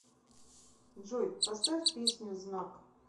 джой поставь песню знак